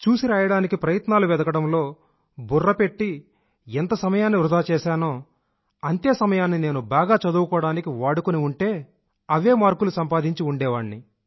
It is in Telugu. బుర్ర పెట్టి ఎంత సమయాన్నైతే చూసిరాయడానికి ప్రయత్నాలు చేశానో ఎంత సమయాన్ని వృధా చేశానో అదే సమయాన్ని నేను బాగా చదువుకోవడానికి వాడుకుని ఉంటే అవే మార్కులు సంపాదించి ఉండేవాణ్ణి